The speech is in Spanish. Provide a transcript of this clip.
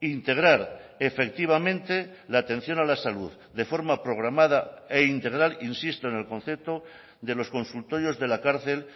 integrar efectivamente la atención a la salud de forma programada e integral insisto en el concepto de los consultorios de la cárcel